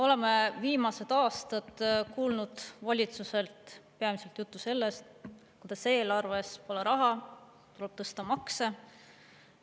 Oleme viimased aastad kuulnud valitsuselt peamiselt juttu sellest, kuidas eelarves pole raha, tuleb tõsta makse.